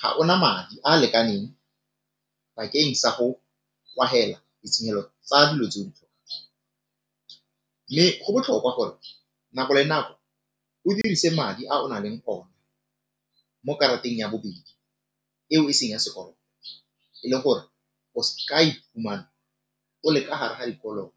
ga ona madi a a lekaneng bakeng sa go ditshenyelo tsa dilo tse mme go botlhokwa gore nako le nako o dirise madi a o na leng ona mo karateng ya bobedi eo e seng ya sekoloto le gore o ska iphumana o le ka gare ga dikoloto.